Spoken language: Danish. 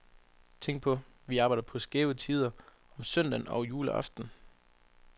Tænk på, vi arbejder på skæve tider, om søndagen og juleaften.